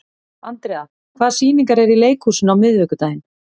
Andrea, hvaða sýningar eru í leikhúsinu á miðvikudaginn?